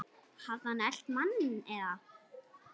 Hafði hann elt manninn eða?